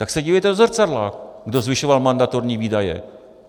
Tak se dívejte do zrcadla, kdo zvyšoval mandatorní výdaje.